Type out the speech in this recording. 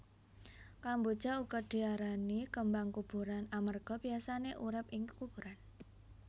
Kamboja uga diarani kembang kuburan amarga biyasané urip ing kuburan